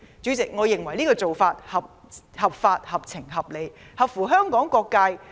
主席，我認為這做法合法、合情、合理，合乎香港利益和各界人士的意願。